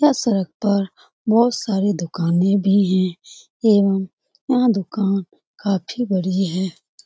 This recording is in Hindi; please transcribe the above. यह सड़क पर बहुत सारी दुकाने भी है एवं यह दुकान काफी बड़ी है।